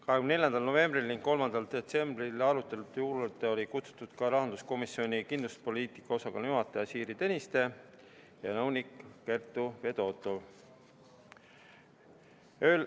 24. novembri ja 3. detsembri arutelu juurde olid kutsutud ka Rahandusministeeriumi kindlustuspoliitika osakonna juhataja Siiri Tõniste ja nõunik Kertu Fedotov.